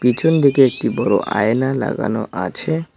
পিছন দিকে একটি বড় আয়না লাগানো আছে।